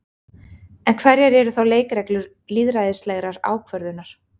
En hverjar eru þá leikreglur lýðræðislegrar ákvörðunar?